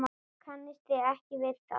Kannist þið ekki við það?